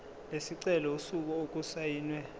lesicelo usuku okusayinwe